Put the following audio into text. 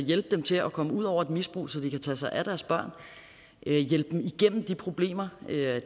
hjælpe dem til at komme ud over et misbrug så de kan tage sig af deres børn hjælpe dem igennem de problemer